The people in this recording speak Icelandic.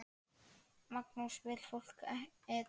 Magnús: Vill fólk Eden aftur?